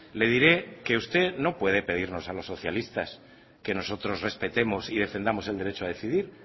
le diré que usted no puede pedirnos a los socialistas que nosotros respetemos y defendamos el derecho a decidir